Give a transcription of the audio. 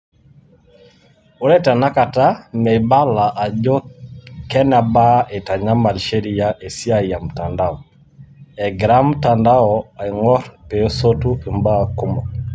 Ore tenakata , meibala ajo kenebaa eitantamall sheria esiaii emtandao, egira mtandao aing'orr peesotu imbaa kumok.